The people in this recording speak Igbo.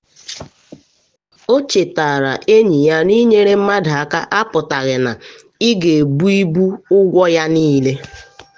ọ chetara enyi ya na inyere mmadụ aka apụtaghị na ị ga-ebu ibu ụgwọ ya niile.